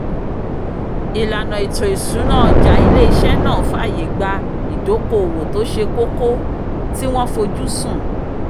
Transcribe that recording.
ìlànà ètò ìṣúná ọjà ilé iṣẹ́ náà fàyè gba ìdóokòòwò tó ṣe kókó tí wọ́n fojú sùn